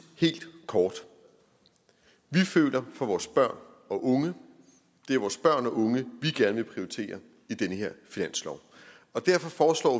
helt kort vi føler for vores børn og unge det er vores børn og unge vi gerne vil prioritere i den her finanslov og derfor foreslår